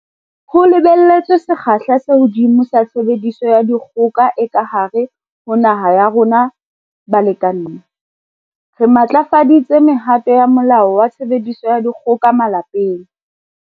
Ho lebelletswe sekgahla se hodimo sa tshebediso ya dikgoka e ka hare ho naha ya rona balekaneng, re matlafaditse mehato ya Molao wa Tshebediso ya Dikgoka Malapeng.